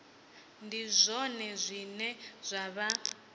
ndi zwone zwine zwa vha